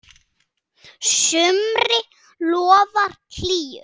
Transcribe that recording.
sumri lofar hlýju.